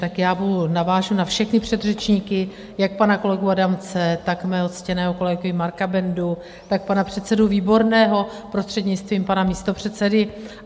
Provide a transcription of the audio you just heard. Tak já navážu na všechny předřečníky, jak pana kolegu Adamce, tak mého ctěného kolegu Marka Bendu, tak pana předsedu Výborného, prostřednictvím pana místopředsedy.